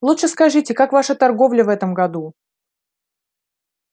лучше скажите как ваша торговля в этом году